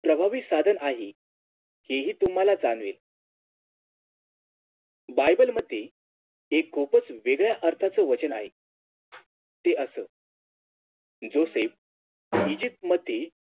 प्रभावी साधन आहे हे हि तुम्हाला जाणवेल Bible मध्ये एक खूपच वेगळ्या अर्थाच वचन आहे ते असं Joseph ईजिप्तमध्ये